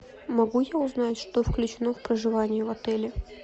могу я узнать что включено в проживание в отеле